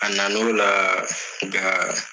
A na na o la nga